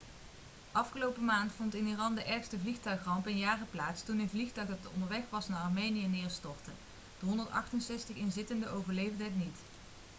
afgelopen maand vond in iran de ergste vliegtuigramp in jaren plaats toen een vliegtuig dat onderweg was naar armenië neerstortte de 168 inzittenden overleefden het niet